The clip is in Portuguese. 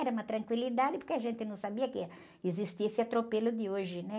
Era uma tranquilidade, porque a gente não sabia que ia existir esse atropelo de hoje, né?